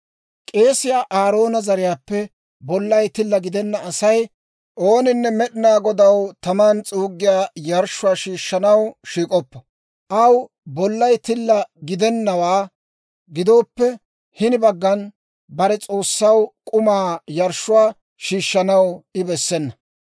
K'eesiyaa Aaroona zariyaappe bollay tilla gidenna Asay ooninne Med'inaa Godaw taman s'uuggiyaa yarshshuwaa shiishshanaw shiik'oppo. Aw bollay tilla gidennawaa gidowaappe hini baggan, bare S'oossaw k'umaa yarshshuwaa shiishshanaw I bessena.